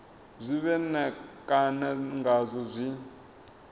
zwe vha ṋekana ngazwo zwi